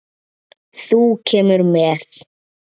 Þú kemur með.